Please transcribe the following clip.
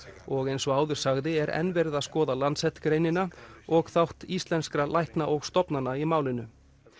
og eins og áður sagði er enn verið að skoða Lancet greinina og þátt íslenskra lækna og stofnana í málinu